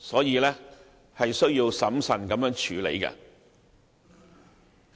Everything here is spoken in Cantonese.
因此，政府必須審慎處理。